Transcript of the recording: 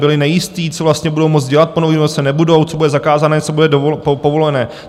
Byli nejistí, co vlastně budou moct dělat po Novém roce, nebudou, co bude zakázané, co bude povolené.